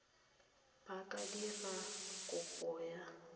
ba ka dira kopo ya